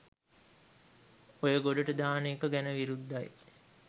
ඔය ගොඩට දාන එක ගැන විරුද්ධයි.